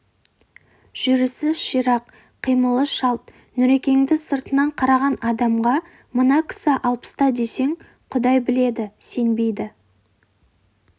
жүрісі ширақ қимылы шалт нүрекеңді сыртынан қараған адамға мына кісі алпыста десең құдай біледі сенбейді